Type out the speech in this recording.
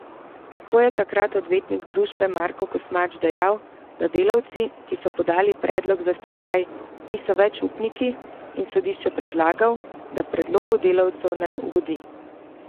Tako je takrat odvetnik družbe Marko Kosmač dejal, da delavci, ki so podali predlog za stečaj, niso več upniki, in sodišču predlagal, da predlogu delavcev ne ugodi.